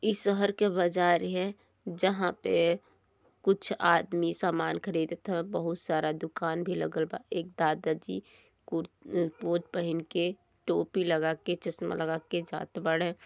ई शहर के बाजार है जहाँ पे कुछ आदमी सामान ख़रीदत हाउ -बहुत सारा दुकान भी लागल बा। एक दादा जी कुर कोट पहीन के टोपी लगा के चश्मा लगा के जात बाटें।